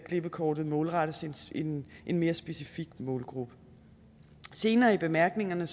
klippekortet målrettes en en mere specifik målgruppe senere i bemærkningerne